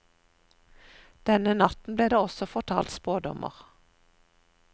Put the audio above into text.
Denne natten blir det også fortalt spådommer.